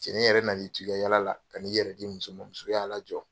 Cɛni yɛrɛ na l'i toi ka yaala la ka na yɛrɛ di muso man , muso y'a lajɔ!